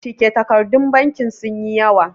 cike takardun banki sun yi yawa